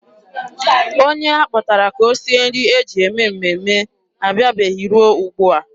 Onye a kpọtara ka o sie nri e ji eme mmemme abịabeghị ruo ugbua.